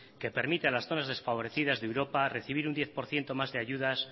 que permite a las zonas desfavorecidas de europa recibir un diez por ciento más de ayudas